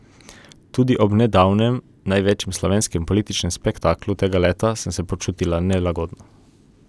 Tudi ob nedavnem največjem slovenskem političnem spektaklu tega leta sem se počutila nelagodno.